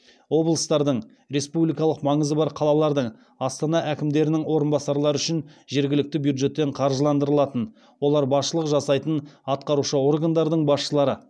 облыстардың республикалық маңызы бар қалалардың астана әкімдерінің орынбасарлары үшін жергілікті бюджеттен қаржыландырылатын олар басшылық жасайтын атқарушы органдардың басшылары